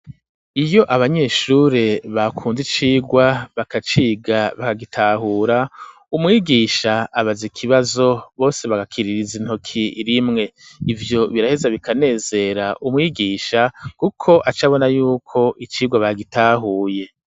Iyo abanyeshure bakunze icigwa, bakaciga bakagitahura, umwigisha abaza ikibazo bose bagakiririza intoki rimwe; ivyo biraheza bikanezera umwigisha, kuko aca abona y'uko icigwa bagitahuye.